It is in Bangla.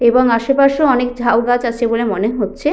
এবং আশেপাশে অনেক ঝাউগাছ আছে বলে মনে হচ্ছে।